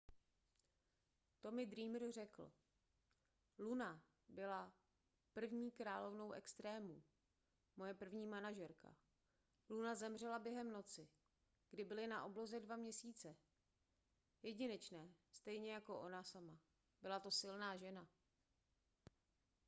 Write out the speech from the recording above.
tommy dreamer řekl luna byla první královnou extrémů moje první manažerka luna zemřela během noci kdy byly na obloze dva měsíce jedinečné stejně jako ona sama byla to silná žena